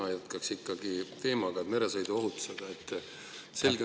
Mina jätkaks ikkagi teemaga, meresõiduohutusega.